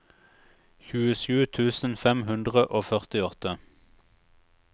tjuesju tusen fem hundre og førtiåtte